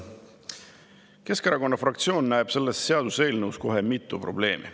Keskerakonna fraktsioon näeb selles seaduseelnõus kohe mitut probleemi.